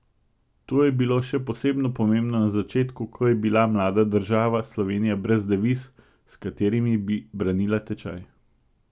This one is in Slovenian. To je bilo še posebno pomembno na začetku, ko je bila mlada država Slovenija brez deviz, s katerimi bi branila tečaj.